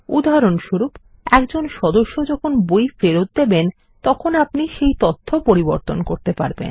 উদাহরণস্বরূপ একজন সদস্য যখন বই ফেরৎ দেবেন তখন আপনি সেই তথ্য পরিবর্তন করতে পারবেন